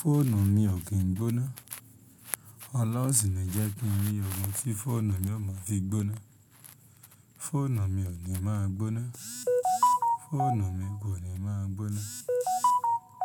Fóònù mi ò kín gbóná. Ọlọ́run ṣìní jẹ́ kí n rí ògo tí fóònù mi ó máa fi gbóná. Fóònù mi ò ní máa gbóná. Fóònù mi kò ní máa gbóná.